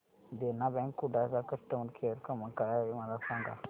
देना bank Kudal चा customer care क्रमांक काय आहे मला सांगा